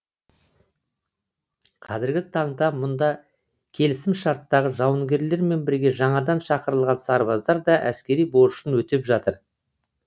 қазіргі таңда мұнда келісімшарттағы жауынгерлермен бірге жаңадан шақырылған сарбаздар да әскери борышын өтеп жатыр